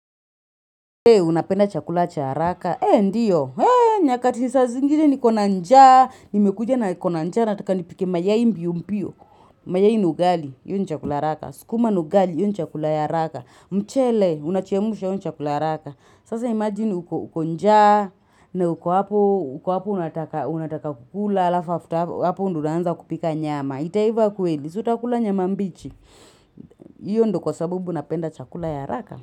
Unapenda chakula cha haraka, ee ndiyo, ee nyakati saa zingine niko na njaa, nimekuja na niko na njaa, nataka nipike mayai mbio mbio, mayai na ugali, hio ni chakula ya haraka, mchele, unachemusha hio ni chakula ya haraka. Sasa imagine uko njaa, na uko hapo, uko hapo unataka kukula, alafu afta hapo ndo unaanza kupika nyama, itaiva kweli, si utakula nyama mbichi, io ndo kwa sababu napenda chakula ya haraka.